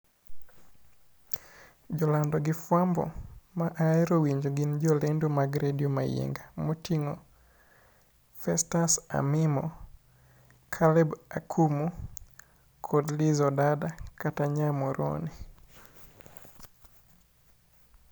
Jolando gi fwambo ma ahero winjo gin jo lendo mag Radio Mayienga moting'o Festus Amimo, Caleb Akumu, kod Liz Odada kata nya Muhoroni.